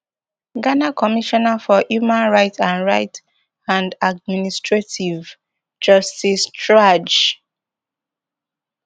ghana commissioner for human rights and rights and administrative justice chraj